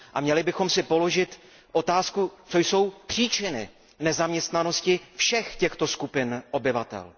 Měli bychom si položit otázku, co jsou příčiny nezaměstnanosti všech těchto skupin obyvatel?